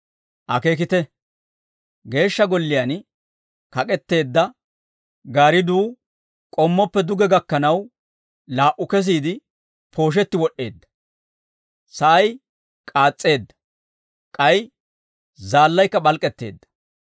Akeekite; Geeshsha Golliyaan kak'etteedda gaaridduu k'ommoppe duge gakkanaw, laa"u kesiide, pooshetti wod'd'eedda; sa'ay k'aas's'eedda. K'ay zaallaykka p'alk'k'etteedda;